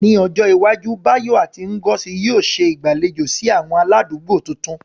Ní ọjọ́ iwájú, Bayo àti Ngozi yóò ṣe ìgbàlejò sí àwọn aládùúgbò tuntun.